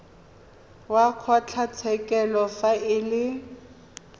wa kgotlatshekelo fa e le